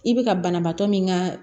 I bɛ ka banabaatɔ min ka